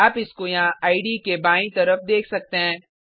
आप इसको यहाँ इडे के बायीं तरफ देख सकते हैं